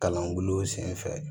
Kalan bulon sen fɛ